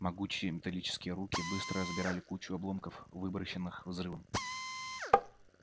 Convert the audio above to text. могучие металлические руки быстро разбирали кучу обломков выброшенных взрывом